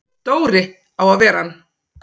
Dóri á að vera hann!